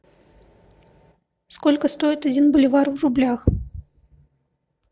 сколько стоит один боливар в рублях